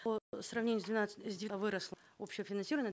по сравнению с двенадцать выросло общее финансирование